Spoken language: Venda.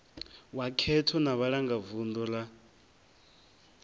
wa khetho na vhalangavunḓu ra